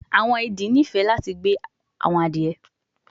Awọn idì nifẹ lati gbe awọn adiye adie